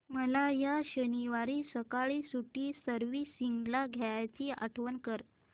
मला या शनिवारी सकाळी स्कूटी सर्व्हिसिंगला द्यायची आठवण कर